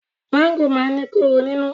Máńgò máa ń ní kóró nínú.